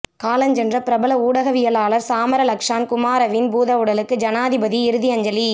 காலஞ்சென்ற பிரபல ஊடகவியலாளர் சாமர லக்ஷான் குமாரவின் பூதவுடலுக்கு ஜனாதிபதி இறுதி அஞ்சலி